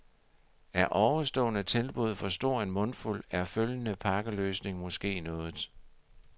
Er ovenstående tilbud for stor en mundfuld, er følgende pakkeløsning måske noget.